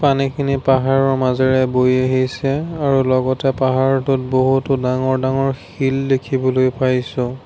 পানীখিনি পাহাৰৰ মাজেৰে বৈ আহিছে আৰু লগতে পাহাৰটোত বহুতো ডাঙৰ ডাঙৰ শিল দেখিবলৈ পাইছোঁ।